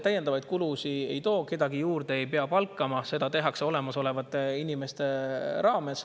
Täiendavaid kulusid see kaasa ei too, kedagi juurde ei pea palkama, seda tehakse olemasolevate inimestega.